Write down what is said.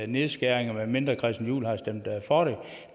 nedskæringer medmindre herre christian juhl har stemt for